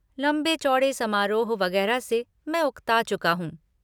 लंबे चौड़े समारोह वगेरह से मैं उक्ता चुका हूँ।